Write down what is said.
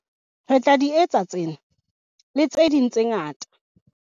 Re tla di etsa tsena, le tse ding tse ngata.